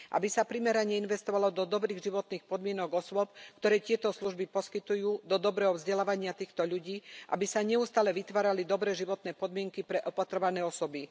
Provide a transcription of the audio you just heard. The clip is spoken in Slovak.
Aby sa primerane investovalo do dobrých životných podmienok osôb, ktoré tieto služby poskytujú, do dobrého vzdelávania týchto ľudí, aby sa neustále vytvárali dobré životné podmienky pre opatrované osoby.